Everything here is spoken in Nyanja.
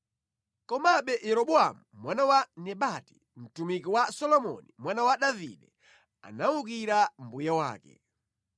Komabe Yeroboamu mwana wa Nebati, mtumiki wa Solomoni mwana wa Davide, anawukira mbuye wake.